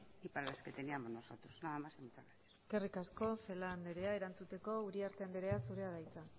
y para las que teníamos nosotros nada más y muchas gracias eskerrik asko celaá andrea erantzuteko uriarte andrea zurea da hitza